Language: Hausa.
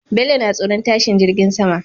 Bello na tsoron tashi jirgin sama